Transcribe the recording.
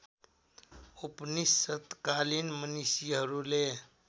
उपनिषत्कालीन मनीषीहरूले